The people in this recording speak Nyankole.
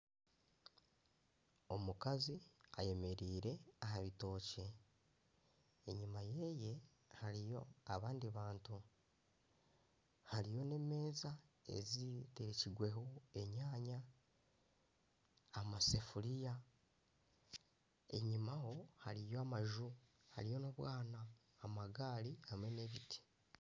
Omukazi ayemereire aha bitokye. Enyima yeye hariyo abandi bantu. Hariyo n'emeeza ezitekirweho enyaanya, amasafiriya. Enyima ho hariyo amaju, hariyo n'obwaana, amagari hamwe n'ebiti.